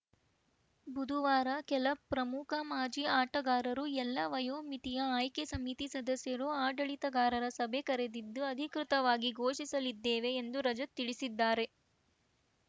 ಬುಧವಾರ ಕೆಲ ಪ್ರಮುಖ ಮಾಜಿ ಆಟಗಾರರು ಎಲ್ಲಾ ವಯೋಮಿತಿಯ ಆಯ್ಕೆ ಸಮಿತಿ ಸದಸ್ಯರು ಆಡಳಿತಗಾರರ ಸಭೆ ಕರೆದಿದ್ದು ಅಧಿಕೃತವಾಗಿ ಘೋಷಿಸಲಿದ್ದೇವೆ ಎಂದು ರಜತ್‌ ತಿಳಿಸಿದ್ದಾರೆ